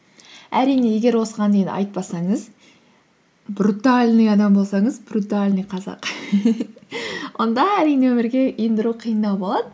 әрине егер осыған дейін айтпасаңыз брутальный адам болсаңыз брутальный қазақ онда әрине өмірге ендіру қиындау болады